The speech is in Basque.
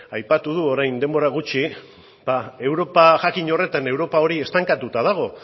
aipatu du orain denbora gutxi europa jakin horretan europa hori estankatuta dago